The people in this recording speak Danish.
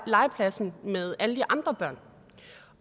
legepladsen med alle de andre børn